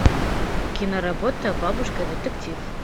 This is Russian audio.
киноработа бабушка детектив